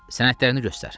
Sənədlərini göstər.